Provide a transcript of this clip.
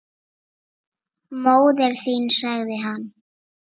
Móðir þín sagði hann.